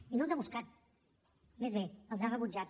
i no els ha buscat més bé els ha rebutjat